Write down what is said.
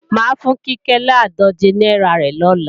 Máa fún Kíkẹ́ làádòje náírà rẹ̀ lọ́la